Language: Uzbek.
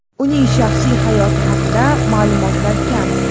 Uning shaxsiy hayoti haqida ma’lumotlar kam.